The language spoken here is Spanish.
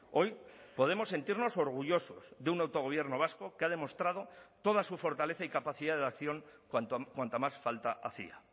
hoy podemos sentirnos orgullosos de un autogobierno vasco que ha demostrado toda su fortaleza y capacidad de acción cuanta más falta hacía